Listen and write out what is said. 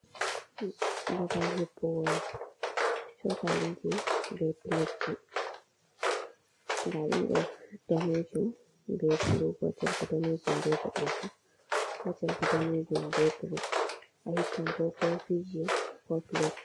Bagal hippugo chokaliji be piletji, nda ɗiɗo danejum be bulu, gotel ko danejum ɓe boɗejum, gotel bo damejum b bulu ahippan ko kofiji ko pilet.